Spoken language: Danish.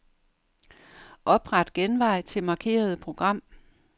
Opret genvej til markerede program.